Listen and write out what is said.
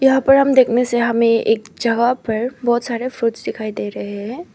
यहां पर हम देखने से हमें एक जगह पर बहोत सारे फ्रूट्स दिखाई दे रहे हैं।